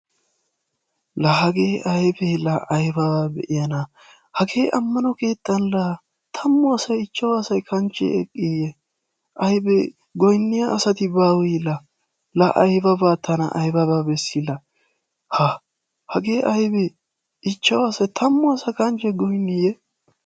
La hagee aybe la ayba beiyana. Hagee ammano keettan la tammu asaay, ichcawu asaay kanche eqqiye? Aybe goyniya asaati bawee la? La aybaba tana aybaba beesi la. Ha hagee aybe ichchawu asa, tammu asaakanche goyniyee?